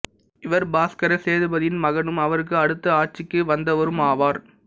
இவர் பாஸ்கர சேதுபதியின் மகனும் அவருக்கு அடுத்து ஆட்சிக்கு வந்தவரும் ஆவார்